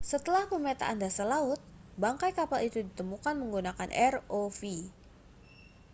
setelah pemetaan dasar laut bangkai kapal itu ditemukan menggunakan rov